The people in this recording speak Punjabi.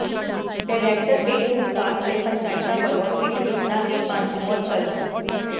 ਡਾਇਰੈਕਟਰ ਪੇਂਡੂ ਵਿਕਾਸ ਤੇ ਪੰਚਾਇਤਾਂ ਵੱਲੋਂ ਪਿੰਡ ਕਿੱਤਣਾ ਦੀ ਪੰਚ ਮੁਅੱਤਲ